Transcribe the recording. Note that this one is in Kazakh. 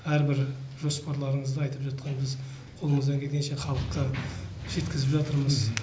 әрбір жоспарларыңызды айтып жатқан кезде қолымыздан келгенше халыққа жеткізіп жатырмыз